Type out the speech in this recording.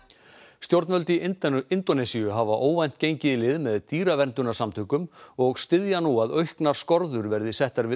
stjórnvöld í Indónesíu hafa óvænt gengið í lið með og styðja nú að auknar skorður verði settar við